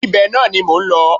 Ibẹ̀ náà ni mò ń lọ